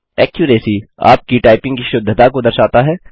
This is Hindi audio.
एक्यूरेसी - आपकी टाइपिंग की शुद्धता को दर्शाता है